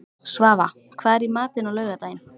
Svava, hvað er í matinn á laugardaginn?